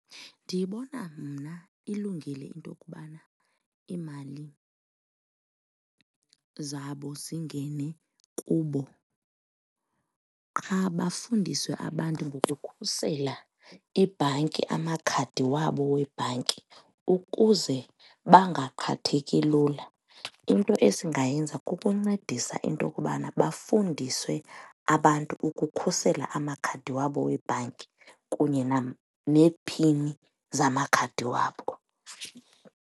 Ndiyibona mna ilungile into kubana iimali zabo zingene kubo qha bafundiswe abantu ngokukhusela ibhanki, amakhadi wabo webhanki, ukuze bangaqhatheki lula. Into esingayenza kukuncedisa into kubana bafundiswe abantu ukukhusela amakhadi wabo webhanki kunye neephini zamakhadi wabo.